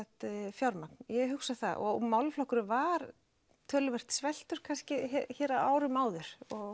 fjármagn ég hugsa það og málaflokkurinn var töluvert sveltur kannski á árum áður og